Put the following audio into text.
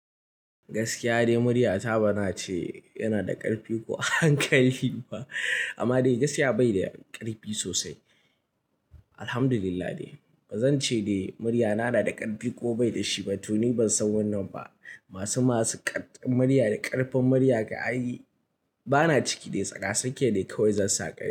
Gaskiya dai muryata ba na ce yana da ƙarfi ko hankali ba, amma dai gaskiya bai da ƙarfi sosai. Alhamdulillah dai ba zan ce dai muryana na da ƙarfi ko bai da shi ba. To ni ban san wannan ba. Masu masu ƙarƙin murya da ƙarfin murya ka ai. Ba na ciki dai tsaka-sakiya dai kawai zan saƙai.